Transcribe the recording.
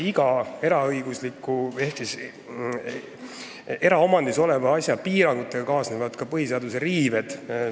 Iga eraomandis oleva asja piirangutega kaasnevad põhiseaduse riived.